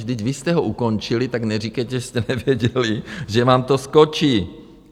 Vždyť vy jste ho ukončili, tak neříkejte, že jste nevěděli, že vám to skočí.